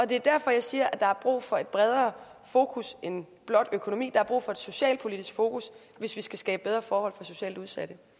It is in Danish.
det er derfor jeg siger at der er brug for et bredere fokus end blot økonomi der er brug for et socialpolitisk fokus hvis vi skal skabe bedre forhold for socialt udsatte